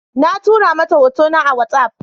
Na tura mata hotuna a watsaf